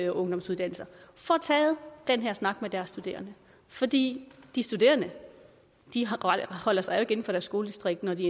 og ungdomsuddannelser får taget den her snak med deres studerende fordi de studerende holder sig inden for deres skoledistrikt når de